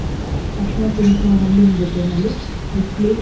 ಅರಿಶಿಣ ಕುಂಕುಮ ಹಣ್ಣಿನ್ ಜೊತೆನಲ್ಲಿ ಉಸ್ಲಿ ,